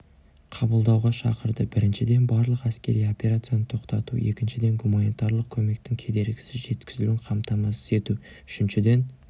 қабылдауға шақырды біріншіден барлық әскери операцияны тоқтату екіншіден гуманитарлық көмектің кедергісіз жеткізілуін қамтамасыз ету үшіншіден